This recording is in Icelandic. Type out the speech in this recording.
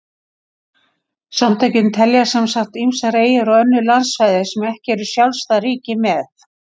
Samtökin telja sem sagt ýmsar eyjar og önnur landsvæði sem ekki eru sjálfstæð ríki með.